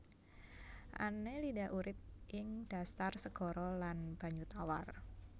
Annelida urip ing dhasar segara lan banyu tawar